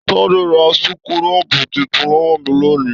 Tade ra súkúrọbuù títún lọwọ mi l'oni.